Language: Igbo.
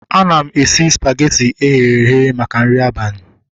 Ana m esi spageti eghere eghe maka nri abalị